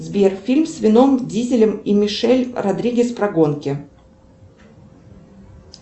сбер фильм с вином дизелем и мишель родригес про гонки